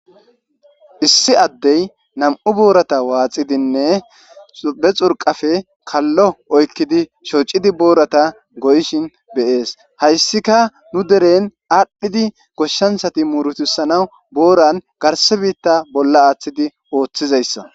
issi addey nam7u boorata waaxidinne be xurqafe kallo oykkidi shoocidi boorata goyishin beyees hayssika nu deren aadhdhidi goshshansati muurutusanaw booran garse biitta bolla aaththidi ooththizayssa